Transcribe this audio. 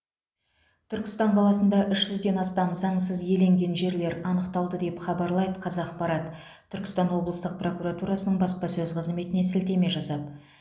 түркістан қаласында үш жүзден астам заңсыз иеленген жерлер анықталды деп хабарлайды қазақпарат түркістан облыстық прокуратурасының баспасөз қызметіне сілтеме жасап